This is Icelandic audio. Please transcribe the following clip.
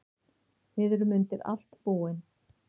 Við erum undir allt búin.